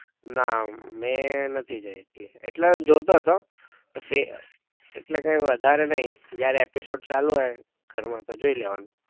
ના મેં નથી જોઈ એટલે જોતો તો એટલે કઈ વધારે નઈ જયારે episode ચાલુ હોય ઘર માં તો જોઈ લેવાનું